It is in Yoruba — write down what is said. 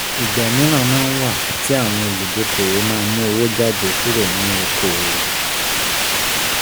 Ìgbà míran máa ń wà tí àwọn olùdókoòwò má mú owó jáde kúrò nínú okoòwò